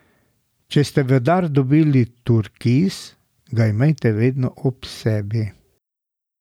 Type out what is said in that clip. Če ste v dar dobili turkiz, ga imejte vedno ob sebi.